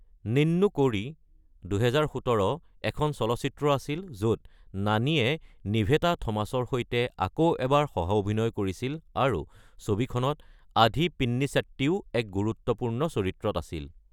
নিন্নু কোৰি (২০১৭) এখন চলচ্চিত্ৰ আছিল য'ত নানীয়ে নিভেথা থমাছৰ সৈতে আকৌ এবাৰ সহ-অভিনয় কৰিছিল, আৰু ছবিখনত আধি পিনিছেট্টিও এক গুৰুত্বপূৰ্ণ চৰিত্ৰত আছিল।